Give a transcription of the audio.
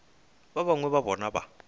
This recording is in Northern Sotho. ba bangwe ba bona ba